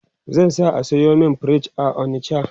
zan sa a sayo min fridge a onicha